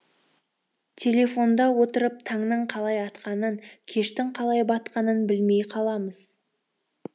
телефонда отырып таңның қалай атқанын кештің қалай батқанын білмей қаламыз